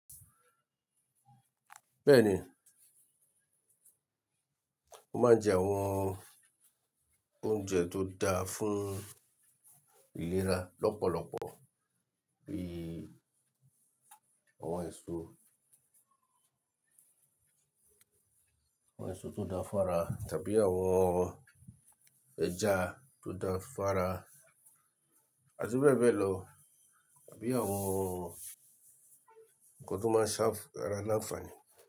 Bẹ́ẹ̀ni, mó máa ń jẹ àwọn oúnjẹ tó da fún ìlera lọ́pọ̀lọpọ̀ bí i àwọn èso, àwọn èso tó dá fún ara tàbí àwọn ẹja tó dá fún ara, àti bẹ́ẹ̀ bẹ́ẹ̀ lọ tàbí àwọn nǹkan tó máa ń ṣàfàrà aláǹfààní.